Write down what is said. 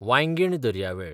वांयगीण दर्यावेळ